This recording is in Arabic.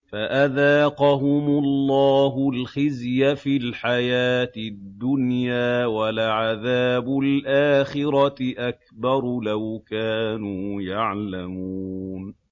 فَأَذَاقَهُمُ اللَّهُ الْخِزْيَ فِي الْحَيَاةِ الدُّنْيَا ۖ وَلَعَذَابُ الْآخِرَةِ أَكْبَرُ ۚ لَوْ كَانُوا يَعْلَمُونَ